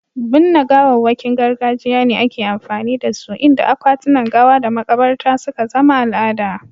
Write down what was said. Binne gawawwakin gargajiya ne ake amfani da su, inda akwatunan gawa da makabarta suka zama al'ada.